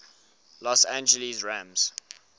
los angeles rams